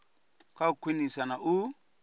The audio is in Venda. kha u khwinisa na u